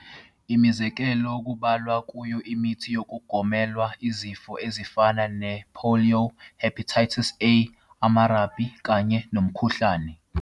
Imizekelo kungabalwa kuyo imithi yokugoma elwa nezifo ezifana ne-polio, hepatitis A, amarabi, kanye nomkhuhlane.